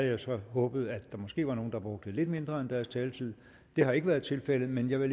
jo så håbet at der måske var nogle der brugte lidt mindre end deres taletid det har ikke været tilfældet men jeg vil